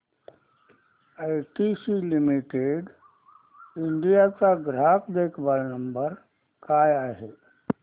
ITC limited India चा ग्राहक देखभाल नंबर काय आहे